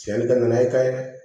Tiɲɛni ka na n'a ye ka ye dɛ